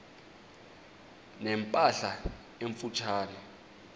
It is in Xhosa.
ne mpahla emfutshane